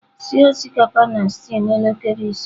Sie osikapa na stew n'elekere ise.